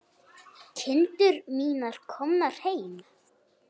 Kindur mínar komnar heim.